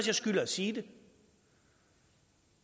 jeg skylder at sige det